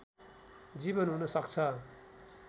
जीवन हुन सक्छ